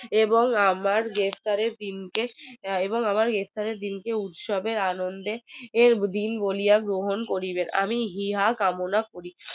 এবং আমার গ্রেফতারের দিন কে এবং আমার গ্রেফতারের দিন কে উৎসবে আনন্দের দিন বলিয়া গ্রহণ করিবে আমি ইহা কামনা করি